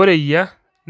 ore eyia,